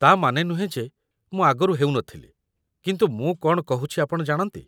ତା'ମାନେ ନୁହେଁ ଯେ ମୁଁ ଆଗରୁ ହେଉନଥିଲି, କିନ୍ତୁ ମୁଁ କ'ଣ କହୁଚି ଆପଣ ଜାଣନ୍ତି